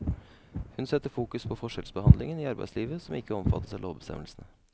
Hun setter fokus på forskjellsbehandling i arbeidslivet som ikke omfattes av lovbestemmelsene.